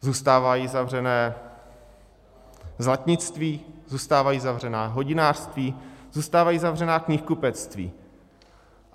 Zůstávají zavřená zlatnictví, zůstávají zavřená hodinářství, zůstávají zavřená knihkupectví.